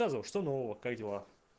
рассказывай что нового как дела